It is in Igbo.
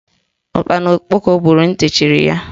Ụkpana okpoko gburu ntị chiri ya.